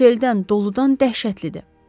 Seldən, doludan dəhşətlidir.